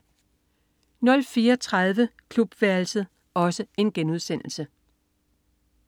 04.30 Klubværelset*